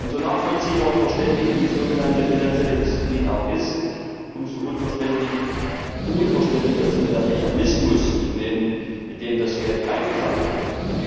Und so nachvollziehbar und verständlich die sogenannten finanzielle Disziplin auch ist, umso unverständlicher ist mir der Mechanismus, mit dem das Geld eingesammelt wird.